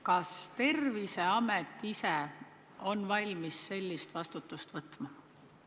Kas Terviseamet ise on valmis sellist vastutust võtma?